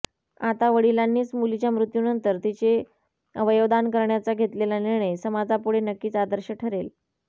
आता वडिलांनीच मुलीच्या मृत्यूनंतर तिचे अवयवदान करण्याचा घेतलेला निर्णय समाजापुढे नक्कीच आदर्श ठरेल